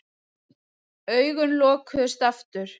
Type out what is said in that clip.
Augun lokuðust aftur.